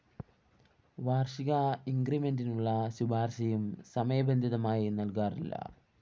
വാര്‍ഷിക ഇന്‍ക്രിമെന്റിനുള്ള ശുപാര്‍ശയും സമയബന്ധിതമായി നല്‍കാറില്ല